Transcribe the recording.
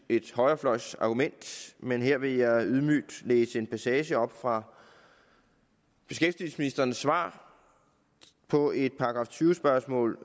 et højrefløjsargument men her vil jeg ydmygt læse en passage op fra beskæftigelsesministerens svar på et § tyve spørgsmål